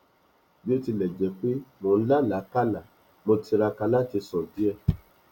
bí ó tilẹ jẹ pé mọ n làlákàlá mo tiraka láti sùn díẹ